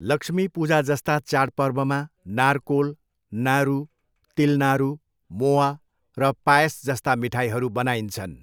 लक्ष्मी पूजाजस्ता चाडपर्वमा नारकोल, नारु, तिल, नारु, मोआ र पायस जस्ता मिठाईहरू बनाइन्छन्।